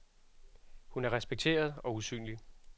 Hun er respekteret og usynlig.